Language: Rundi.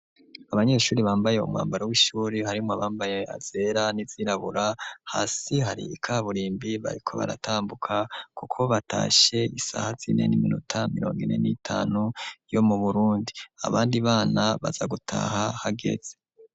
Abanyeshuri bambaye umwambaro w'ishuri harimwo abambaye azera n'izirabura hasi hari ikaburimbi bariko baratambuka, kuko batashe isaha zinene iminota mirongo ine n'itanu yo mu burundi abandi bana baza gutaha hageze.